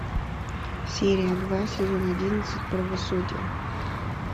серия два сезон одиннадцать правосудие